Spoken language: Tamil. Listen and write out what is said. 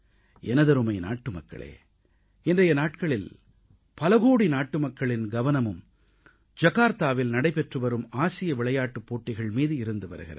எனதருமை நாட்டுமக்களே இன்றைய நாட்களில் பல கோடி நாட்டுமக்களின் கவனமும் ஜர்தாவில் நடைபெற்றுவரும் ஆசிய விளையாட்டுப் போட்டிகள் மீது இருந்து வருகிறது